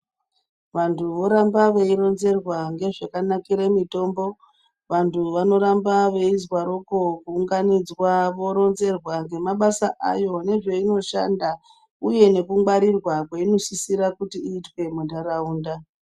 Vanthu voramba veironzerwa, ngezvakanakire mitombo. Vanthu vanoramba veizwaroko, kuunganidzwa voronzerwa ngemabasa ayo nezveinoshanda, uye nekungwarirwa kweinosisire kuti iizwe muntharaunda.